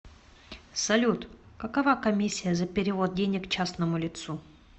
салют какова комиссия за перевод денег частному лицу